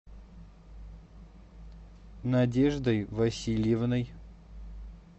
надеждой васильевной